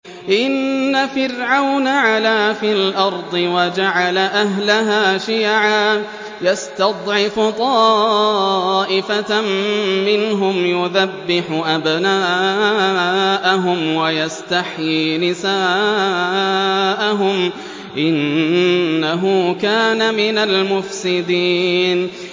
إِنَّ فِرْعَوْنَ عَلَا فِي الْأَرْضِ وَجَعَلَ أَهْلَهَا شِيَعًا يَسْتَضْعِفُ طَائِفَةً مِّنْهُمْ يُذَبِّحُ أَبْنَاءَهُمْ وَيَسْتَحْيِي نِسَاءَهُمْ ۚ إِنَّهُ كَانَ مِنَ الْمُفْسِدِينَ